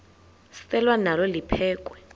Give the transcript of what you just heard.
selwa nalo liphekhwe